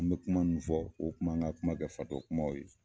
N mɛ kuma nunnu fɔ, u kun m'an ka kuma kɛ fatɔ kumaw ye.